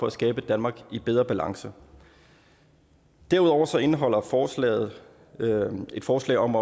at skabe et danmark i bedre balance derudover indeholder forslaget et forslag om